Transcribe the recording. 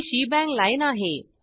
ही shebang line आहे